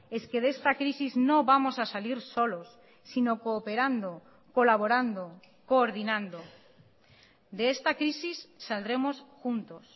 es que de esta crisis no vamos a salir solos sino cooperando colaborando coordinando de esta crisis saldremos juntos